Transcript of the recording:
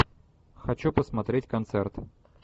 хочу посмотреть концерт